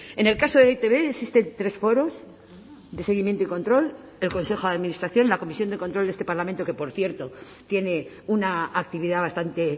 en el caso de e i te be existen tres foros de seguimiento y control el consejo de administración la comisión de control de este parlamento que por cierto tiene una actividad bastante